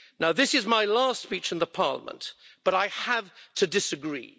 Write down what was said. This is my last speech in the Parliament, but I have to disagree.